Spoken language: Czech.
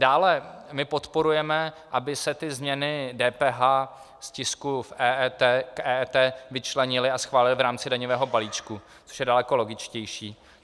Dále, my podporujeme, aby se ty změny DPH z tisku k EET vyčlenily a schválily v rámci daňového balíčku, což je daleko logičtější.